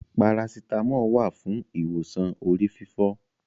Parasítámọ̀ wà fún ìwòsàn orí fífọ́.